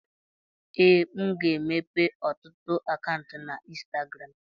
ee, m ga-emepe ọtụtụ akaụntụ na ịnstagram